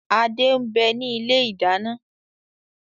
Adé ń bẹni ilé ìdáná